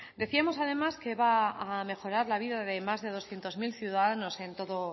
decíamos además que va a mejorar la vida de más de doscientos mil ciudadanos